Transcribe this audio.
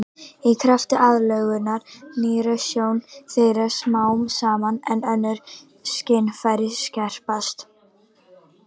Í krafti aðlögunar hnignar sjón þeirra smám saman en önnur skynfæri skerpast.